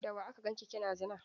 Da wa aka ganki kina zina?